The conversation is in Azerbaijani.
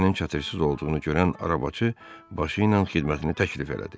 Ejennin çatısız olduğunu görən arabacı başı ilə xidmətini təklif elədi.